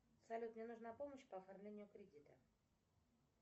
салют мне нужна помощь по оформлению кредита